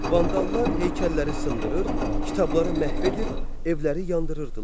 Vandallar heykəlləri sındırır, kitabları məhv edir, evləri yandırırdılar.